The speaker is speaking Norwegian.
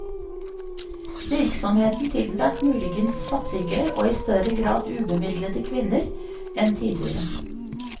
Virksomheten tiltrakk muligens fattigere og i større grad ubemidlede kvinner enn tidligere.